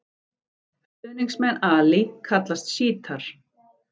Stuðningsmenn Ali kallast sjítar.